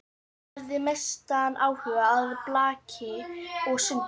Hafði mestan áhuga á blaki og sundi.